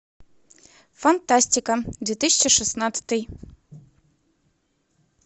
фантастика две тысячи шестнадцатый